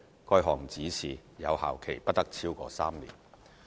該項指示有效期不得超過3年。